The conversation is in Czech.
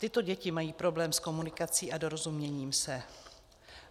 Tyto děti mají problém s komunikací a dorozuměním se.